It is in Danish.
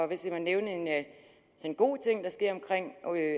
hvis jeg må nævne en god ting der sker omkring